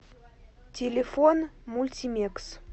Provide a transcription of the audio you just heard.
телефон мультимекс